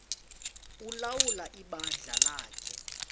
ulawula ibandla lakhe